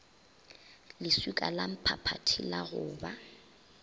leswika lamphaphathi la go ba